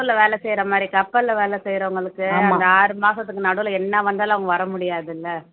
கப்பல்ல வேலை செய்யற மாதிரி கப்பல்ல வேலை செய்யறவங்களுக்கு இந்த ஆறு மாசத்துக்கு நடுவுல என்ன வந்தாலும் அவங்க வர முடியாதுல்ல